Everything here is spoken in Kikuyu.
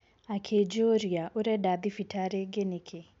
Akĩnjũria, 'Ũrenda thibitarĩ ingĩ nĩkĩ?'